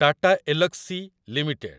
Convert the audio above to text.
Tata Elxsi limited